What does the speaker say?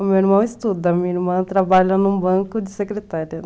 O meu irmão estuda, a minha irmã trabalha num banco de secretária.